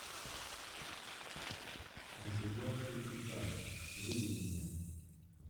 оседлавший кита выведи мне